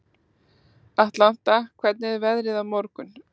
Atlanta, hvernig er veðrið á morgun?